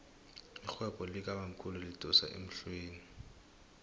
irhwebo likabamkhulu lidosa emhlweni